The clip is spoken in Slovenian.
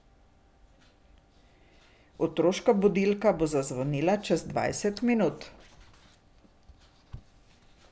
Otroška budilka bo zvonila čez dvajset minut.